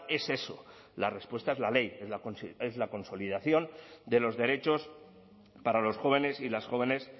es eso la respuesta es la ley es la consolidación de los derechos para los jóvenes y las jóvenes